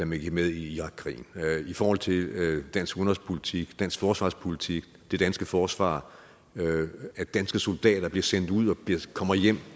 man gik med i irakkrigen i forhold til dansk udenrigspolitik dansk forsvarspolitik det danske forsvar at danske soldater bliver sendt ud og kommer hjem